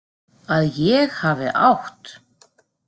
Að ég hafi átt.?